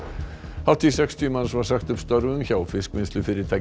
hátt í sextíu manns var sagt upp störfum hjá